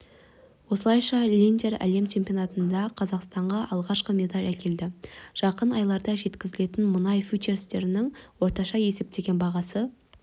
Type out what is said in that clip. осылайша линдер әлем чемпионатында қазақстанға алғашқы медаль әкелді жақын айларда жеткізілетін мұнай фьючерстерінің орташа есептеген бағасы